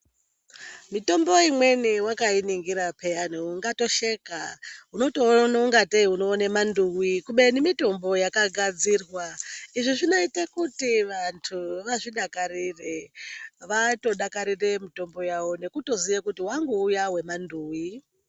Mitombo imweni wakainingira peyani ungatosheka. Unotoona ungatei unoone manduwi kubeni mitombo yakagadzirwa. Izvi zvinoite kuti vantu vazvidakarire. Vatodakarire mutombo yavo nekutoziya kuti wangu uya wemanduwi.